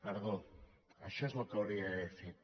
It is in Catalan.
perdó això és el que hauria d’haver fet